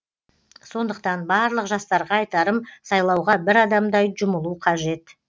сондықтан барлық жастарға айтарым сайлауға бір адамдай жұмылу қажет